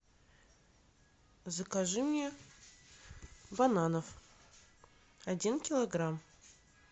закажи мне бананов один килограмм